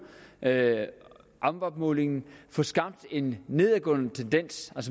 amwab målingen få skabt en nedadgående tendens